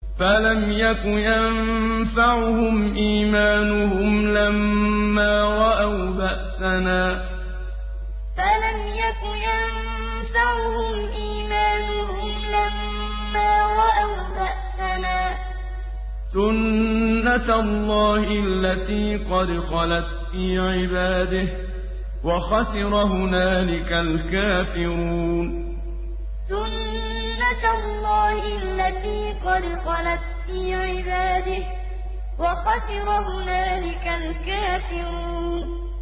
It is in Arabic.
فَلَمْ يَكُ يَنفَعُهُمْ إِيمَانُهُمْ لَمَّا رَأَوْا بَأْسَنَا ۖ سُنَّتَ اللَّهِ الَّتِي قَدْ خَلَتْ فِي عِبَادِهِ ۖ وَخَسِرَ هُنَالِكَ الْكَافِرُونَ فَلَمْ يَكُ يَنفَعُهُمْ إِيمَانُهُمْ لَمَّا رَأَوْا بَأْسَنَا ۖ سُنَّتَ اللَّهِ الَّتِي قَدْ خَلَتْ فِي عِبَادِهِ ۖ وَخَسِرَ هُنَالِكَ الْكَافِرُونَ